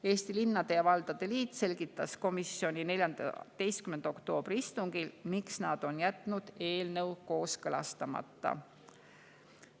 Eesti Linnade ja Valdade Liit selgitas komisjoni 14. oktoobri istungil, miks nad on jätnud eelnõu kooskõlastamata.